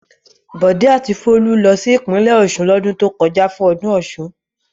Bọ̀dé a ti Folú lọ sí ìpínlẹ̀ Ọ̀ṣun lọ́dún tó kọjá fún ọdún Ọ̀ṣun.